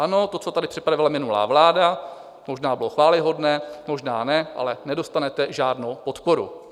Ano, to, co tady připravila minulá vláda, možná bylo chvályhodné, možná ne, ale nedostanete žádnou podporu.